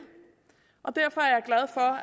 og derfor